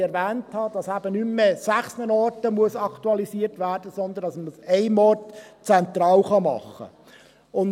dass eben nicht mehr an sechs Orten aktualisiert werden muss, sondern dass man dies an einem Ort zentral machen kann.